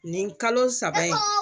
Nin kalo saba in